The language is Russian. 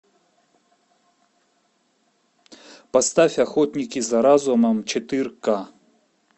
поставь охотники за разумом четыре ка